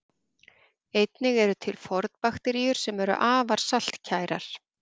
Einnig eru til fornbakteríur sem eru afar saltkærar.